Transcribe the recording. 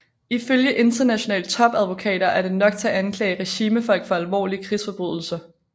Ifølge internationale topadvokater er det nok til at anklage regimefolk for alvorlige krigsforbrydelser